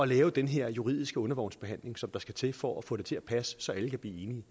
lave den her juridiske undervognsbehandling som der skal til for at få det til at passe så alle kan blive enige